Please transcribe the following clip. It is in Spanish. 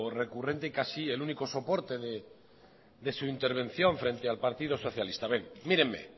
recurrente y casi el único soporte de su intervención frente al partido socialista mírenme